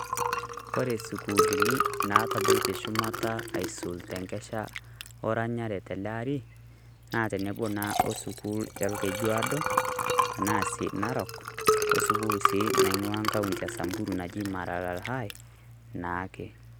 Kore sukuulini natabaitie shumata aisul tenkesha oranyare teleari, na tenebo naa osukul e Olkejuado, tenaa si Narok osukul si naing'ua nkaunti e Samburu naji Maralal High, naake.